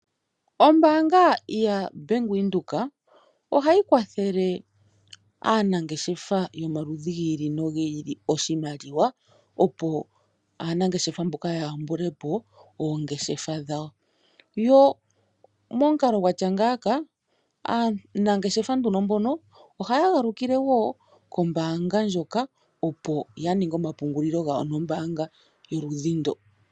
Ombaanga yaBank Windhoek ohayi kwathele aanangeshefa yomaludhi gi ili nogi ili oshimaliwa, opo aanangeshefa mboka ya yambule po oongeshefa dhawo. Yo momukalo gwa tya ngaaka aanengeshefa nduno mbono ohaya galukile wo kombaanga ndjoka, opo ya ninge omapungulilo gawo nombaanga goludhi ndo.